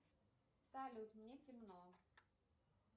салют мне темно